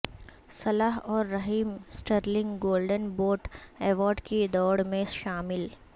صلاح اور Raheem Sterling golden boot award کی دوڑ میں شامل